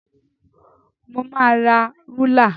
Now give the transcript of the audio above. Mo máa ra rúlà.